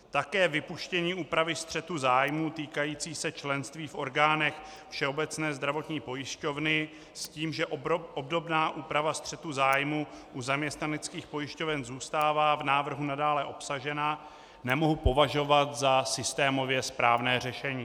Také vypuštění úpravy střetu zájmů týkající se členství v orgánech Všeobecné zdravotní pojišťovny s tím, že obdobná úprava střetu zájmů u zaměstnaneckých pojišťoven zůstává v návrhu nadále obsažena, nemohu považovat za systémově správné řešení.